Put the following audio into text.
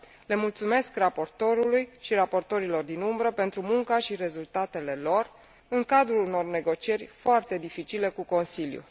Le mulțumesc raportorului și raportorilor din umbră pentru munca și rezultatele lor, în cadrul unor negocieri foarte dificile cu Consiliul.